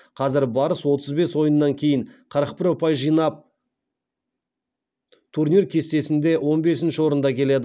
қазір барыс отыз бес ойыннан кейін қырық бір ұпай жинап турнир кестесінде он бесінші орында келеді